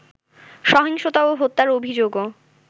সহিংসতা ও হত্যার অভিযোগও